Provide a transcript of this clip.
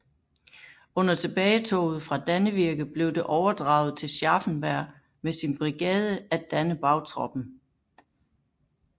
Under tilbagetoget fra Dannevirke blev det overdraget til Scharffenberg med sin brigade at danne bagtroppen